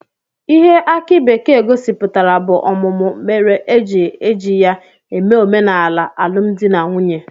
Ihe aki bekee gosipụtara bụ ọmụmụ mere e ji eji ya eme omenala alụmdi na nwunye